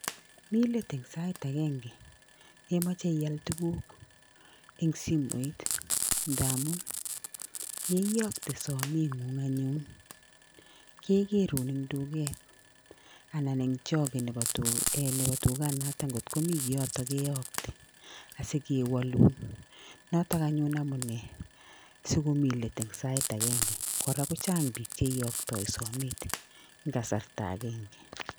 Mi let eng' sait agenge yemoche ial tukuk eng' simoit ndamun yeiyokte simeng'ung' anyun kekerun eng' duket anan eng' choge nebo dukanoto ngotkomi kiyoto keyokte asikewolun noto anyun amune sikomi let eng' sait agenge kora kochang' biik cheiyokyoi somet eng' kasarta agenge